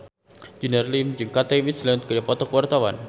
Junior Liem jeung Kate Winslet keur dipoto ku wartawan